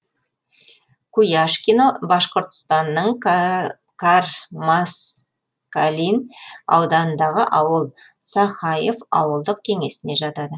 куяшкино башқұртстанның кармаскалин ауданындағы ауыл сахаев ауылдық кеңесіне жатады